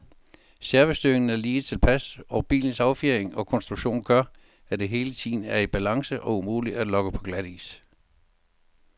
Servostyringen er lige tilpas, og bilens affjedring og konstruktion gør, at den hele tiden er i balance og umulig at lokke på glatis.